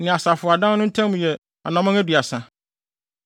ne asɔfo adan no ntam yɛ anammɔn aduasa.